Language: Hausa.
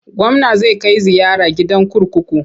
Gwamna zai kai ziyara gidan kurkuku.